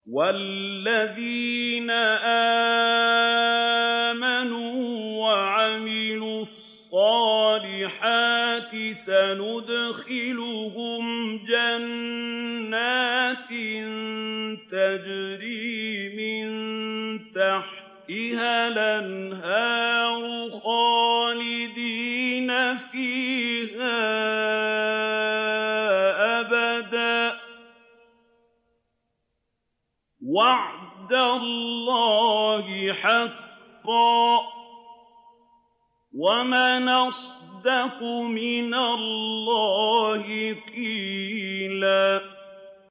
وَالَّذِينَ آمَنُوا وَعَمِلُوا الصَّالِحَاتِ سَنُدْخِلُهُمْ جَنَّاتٍ تَجْرِي مِن تَحْتِهَا الْأَنْهَارُ خَالِدِينَ فِيهَا أَبَدًا ۖ وَعْدَ اللَّهِ حَقًّا ۚ وَمَنْ أَصْدَقُ مِنَ اللَّهِ قِيلًا